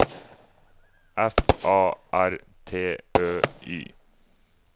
F A R T Ø Y